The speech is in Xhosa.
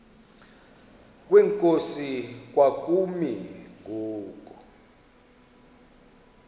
kwenkosi kwakumi ngoku